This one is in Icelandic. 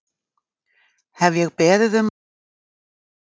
Hef ég beðið um að fá að fara?